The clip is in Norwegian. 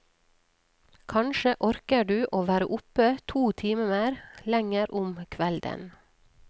Kanskje orker du å være oppe to timer lenger om kvelden.